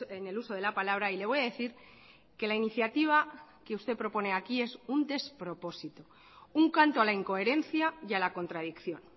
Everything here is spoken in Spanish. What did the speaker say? en el uso de la palabra y le voy a decir que la iniciativa que usted propone aquí es un despropósito un canto a la incoherencia y a la contradicción